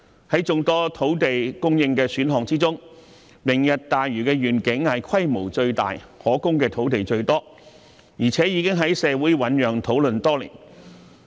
在眾多土地供應的選項當中，"明日大嶼願景"規模最大，提供的土地最多，而且已經在社會醞釀討論多年。